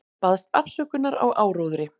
Baðst afsökunar á áróðri